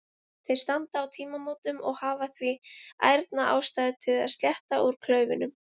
Þeir standa á tímamótum og hafa því ærna ástæðu til að sletta úr klaufunum.